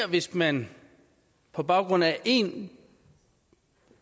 hvis man på baggrund af en